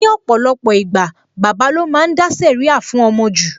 Ní ọ̀pọ̀lọpọ̀ ìgbà, bàbà lo máa ń dá sẹ̀ríà fún ọmọ jù